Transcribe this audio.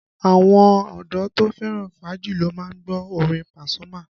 Àwọn ọdọ́ to fẹ́ràn fàájì ló má ń gbọ́ orin Pasuma